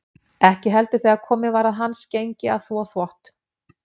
Ekki heldur þegar komið var að hans gengi að þvo þvott.